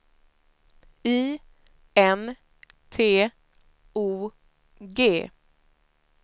I N T O G